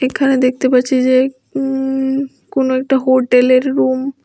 এখানে দেখতে পারছি যে উঁ কোন একটা হোটেলের রুম ।